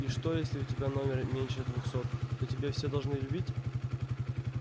и что если у тебя номер меньше двухсот то тебя все должны любить